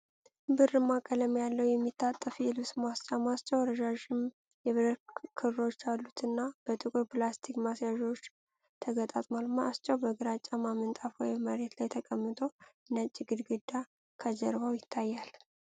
ብርማ ቀለም ያለው፣ የሚታጠፍ የልብስ ማስጫ፣ ማስጫው ረዣዥም የብረት ክሮች ያሉት እና፣ በጥቁር ፕላስቲክ ማያያዣዎች ተገጣጥሟል። ማስጫው በግራጫማ ምንጣፍ ወይም መሬት ላይ ተቀምጦ ነጭ ግድግዳ ከጀርባው ይታያል።